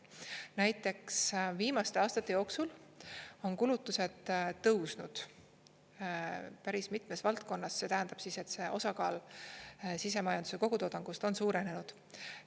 Näiteks viimaste aastate jooksul on kulutused tõusnud päris mitmes valdkonnas, see tähendab siis, et see osakaal sisemajanduse kogutoodangust on suurenenud.